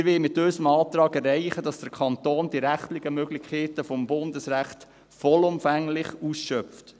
Wir wollen mit unserem Antrag erreichen, dass der Kanton die rechtlichen Möglichkeiten des Bundesrechts vollumfänglich ausschöpft;